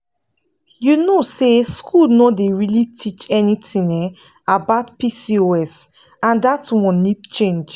you know say school no dey really teach anything um about pcos and that one need change.